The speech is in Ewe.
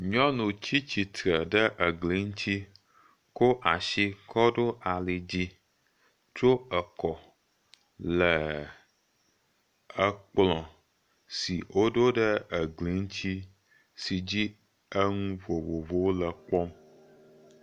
Nyɔnu tsi tsitre ɖe egli ŋuti, ko asi kɔ ɖo ali dzi, tro ekɔ le ekplɔ si woɖo ɖe egli ŋuti, si dzi enu vovovowo le kpɔm.